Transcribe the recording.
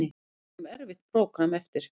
Við eigum erfitt prógramm eftir